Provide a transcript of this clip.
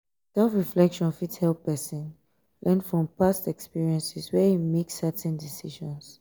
self reflection fit help person learn from past experiences where im make certain decisions